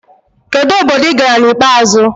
Kedu obodo ị gara na ikpeazụ?